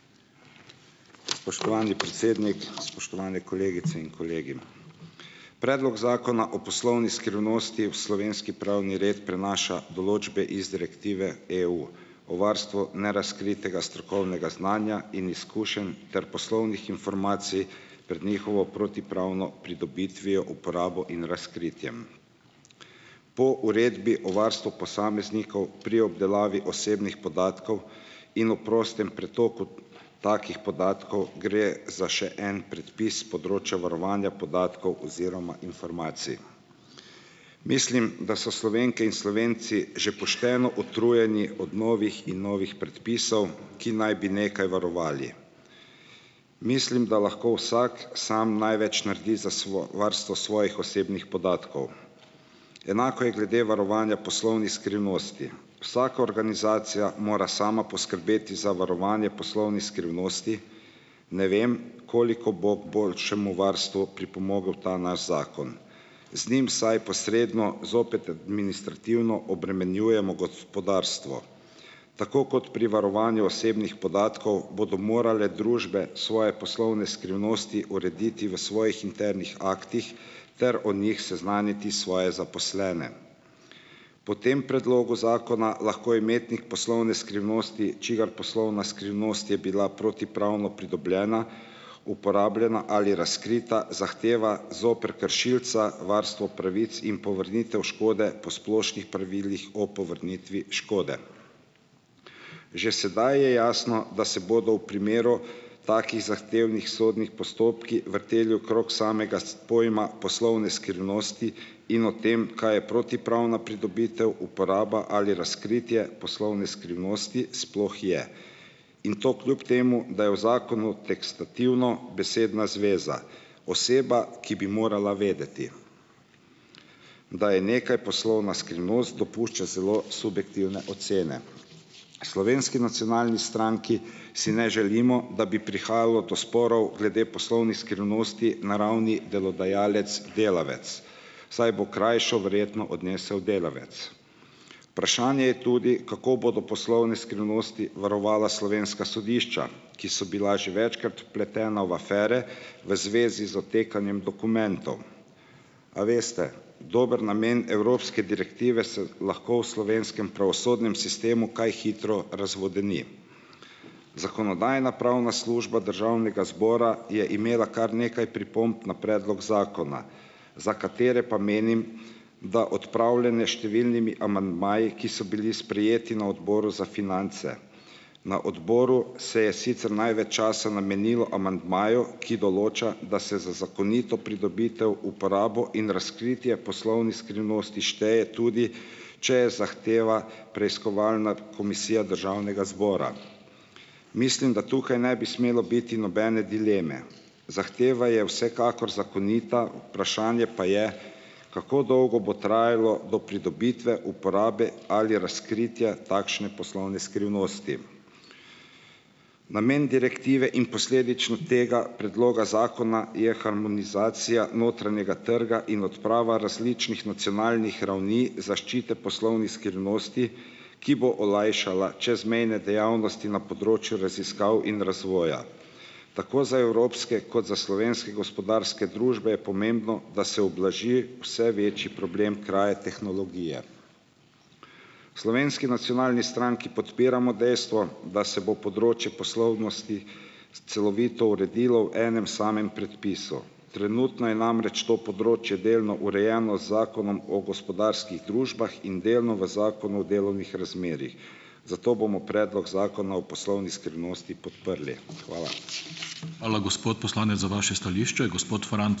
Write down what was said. Spoštovani predsednik! Spoštovane kolegice in kolegi! Predlog Zakona o poslovni skrivnosti v slovenski pravni red prenaša določbe iz direktive EU. O varstvu nerazkritega strokovnega znanja in izkušenj ter poslovnih informacij pred njihovo protipravno pridobitvijo, uporabo in razkritjem. Po Uredbi o varstvu posameznikov pri obdelavi osebnih podatkov in v prostem pretoku takih podatkov gre za še en predpis s področja varovanja podatkov oziroma informacij. Mislim, da so Slovenke in Slovenci že pošteno utrujeni od novih in novih predpisov, ki naj bi nekaj varovali. Mislim, da lahko vsak sam največ naredi za varstvo svojih osebnih podatkov. Enako je glede varovanja poslovnih skrivnosti. Vsaka organizacija mora sama poskrbeti za varovanje poslovnih skrivnosti, ne vem, koliko bo boljšemu varstvu pripomogel ta naš zakon. Z njim vsaj posredno zopet administrativno obremenjujemo gospodarstvo. Tako kot pri varovanju osebnih podatkov bodo morale družbe svoje poslovne skrivnosti urediti v svojih internih aktih ter o njih seznaniti svoje zaposlene. Po tem predlogu zakona lahko imetnik poslovne skrivnosti, čigar poslovna skrivnost je bila protipravno pridobljena, uporabljena ali razkrita, zahteva zoper kršilca varstvo pravic in povrnitev škode po splošnih pravilih o povrnitvi škode. Že sedaj je jasno, da se bodo v primeru takih zahtevnih sodnih postopkov vrteli okrog samega pojma poslovne skrivnosti in o tem, kaj je protipravna pridobitev, uporaba ali razkritje poslovne skrivnosti sploh je, in to kljub temu, da je v zakonu tekstativno besedna zveza. Oseba, ki bi morala vedeti, da je nekaj poslovna skrivnost, dopušča celo subjektivne ocene. Slovenski nacionalni stranki si ne želimo, da bi prihajalo do sporov glede poslovnih skrivnosti na ravni delodajalec-delavec, saj bo krajšo verjetno odnesel delavec. Vprašanje je tudi, kako bodo poslovne skrivnosti varovala slovenska sodišča, ki so bila že večkrat vpletena v afere v zvezi z odtekanjem dokumentov. A veste, dober namen evropske direktive se lahko v slovenskem pravosodnem sistemu kaj hitro razvodeni. Zakonodajno-pravna služba državnega zbora je imela kar nekaj pripomb na predlog zakona, za katere pa menim, da odpravljene s številnimi amandmaji, ki so bili sprejeti na Odboru za finance. Na odboru se je sicer največ časa namenilo amandmaju, ki določa, da se za zakonito pridobitev uporabo in razkritje poslovnih skrivnosti šteje tudi, če je zahteva preiskovalna komisija državnega zbora. Mislim, da tukaj ne bi smelo biti nobene dileme. Zahteva je vsekakor zakonita, vprašanje pa je, kako dolgo bo trajalo do pridobitve uporabe ali razkritja takšne poslovne skrivnosti. Namen direktive in posledično tega predloga zakona je harmonizacija notranjega trga in odprava različnih nacionalnih ravni zaščite poslovnih skrivnosti, ki bo olajšala čezmejne dejavnosti na področju raziskav in razvoja. Tako za evropske kot za slovenske gospodarske družbe je pomembno, da se ublaži vse večji problem kraje tehnologije. Slovenski nacionalni stranki podpiramo dejstvo, da se bo področje poslovnosti celovito uredilo v enem samem predpisu. Trenutno je namreč to področje delno urejeno z Zakonom o gospodarskih družbah in delno v Zakonu o delovnih razmerjih. Zato bomo predlog zakona o poslovni skrivnosti podprli. Hvala.